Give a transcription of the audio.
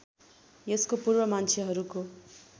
यसको पूर्व मान्छेहरूको